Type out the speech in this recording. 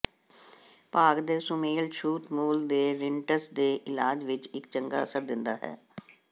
ਭਾਗ ਦੇ ਸੁਮੇਲ ਛੂਤ ਮੂਲ ਦੇ ਰਿਨਟਸ ਦੇ ਇਲਾਜ ਵਿੱਚ ਇੱਕ ਚੰਗਾ ਅਸਰ ਦਿੰਦਾ ਹੈ